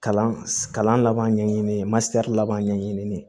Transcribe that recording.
Kalan kalan laban ɲɛɲini masɛrila laban ɲɛɲini